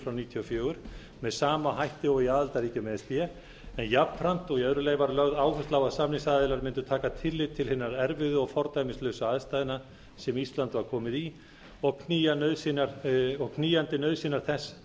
níutíu og fjögur með sama hætti og í aðildarríkjum e s b en jafnframt og í öðru lagi var lögð áhersla á að samningsaðilar mundu taka tillit til hinna erfiðu og fordæmislausu aðstæðna sem ísland var komið í og knýjandi nauðsynjar þess